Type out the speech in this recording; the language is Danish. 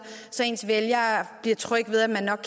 så ens vælgere bliver trygge ved at man nok